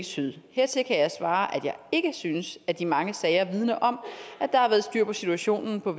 syd hertil kan jeg svare at jeg ikke synes at de mange sager vidner om at der har været styr på situationen på